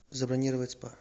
забронировать спа